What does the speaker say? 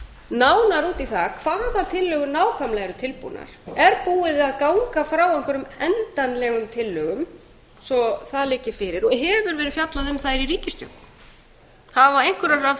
nánar út í það hvaða tillögur nákvæmlega eru tilbúnar er búið að ganga frá einhverjum endanlegum tillögum svo það liggi fyrir hefur verið fjallað um þær í ríkisstjórn eru einhverjar af